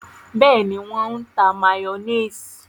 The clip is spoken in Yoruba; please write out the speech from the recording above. Bẹẹni, wọn n tá mayonnaise